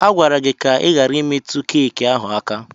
A gwara gị ka ị ghara imetụ keki ahụ aka!